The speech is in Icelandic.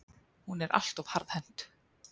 Hún er allt of harðhent.